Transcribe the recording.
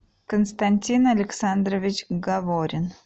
константин александрович гаворин